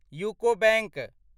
UCO bank